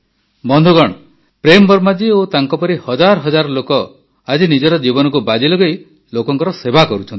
ବନ୍ଧୁଗଣ ପ୍ରେମ୍ ବର୍ମା ଜୀ ଓ ତାଙ୍କପରି ହଜାର ହଜାର ଲୋକ ଆଜି ନିଜର ଜୀବନକୁ ବାଜି ଲଗାଇ ଲୋକଙ୍କର ସେବା କରୁଛନ୍ତି